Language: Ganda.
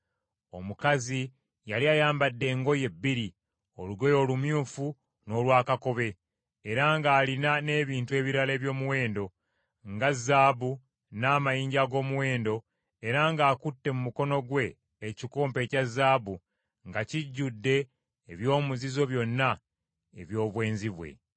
Omukazi yali ayambadde engoye bbiri olugoye olumyufu n’olwa kakobe era ng’alina n’ebintu ebirala eby’omuwendo, nga zaabu n’amayinja ag’omuwendo, era ng’akutte mu mukono gwe ekikompe ekya zaabu nga kijjudde eby’omuzizo byonna eby’obwenzi bwe.